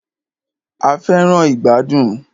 A fẹràn ìgbàdùn.